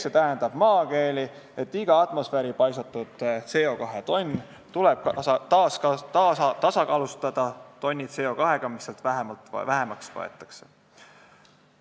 See tähendab maakeeli, et iga atmosfääri paisatud CO2 tonn tuleb tasakaalustada tonni CO2-ga, mis sealt vähemaks võetakse.